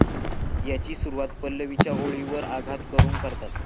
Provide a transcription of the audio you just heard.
याची सुरवात पल्लवीच्या ओळीवर आघात करून करतात.